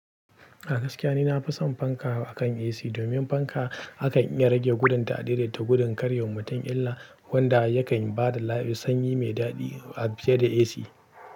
A gaskiya ni nafi son fanka akan AC. Domin fanka akan iya rage gudun ta a daidaita gudun kar ya wa mutun illa, wanda yakan ba da lai, sanyi mai daɗi a fiye da AC.